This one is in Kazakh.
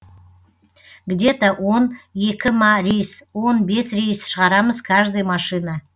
где то он екі ма рейс он бес рейс шығарамыз каждый машина